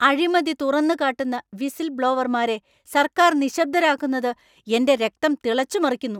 അഴിമതി തുറന്നുകാട്ടുന്ന വിസിൽ ബ്ലോവർമാരെ സർക്കാർ നിശബ്ദരാക്കുന്നത് എന്‍റെ രക്തം തിളച്ചു മറിക്കുന്നു.